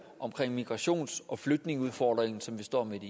omkring migrations og flygtningeudfordringen som vi står midt